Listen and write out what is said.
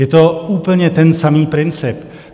Je to úplně ten samý princip.